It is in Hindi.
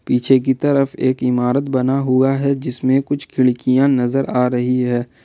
पीछे की तरफ एक इमारत बना हुआ है जिसमें कुछ खिड़कियां नजर आ रही है।